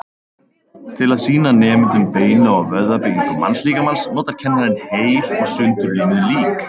Til að sýna nemendum beina- og vöðvabyggingu mannslíkamans notar kennarinn heil og sundurlimuð lík.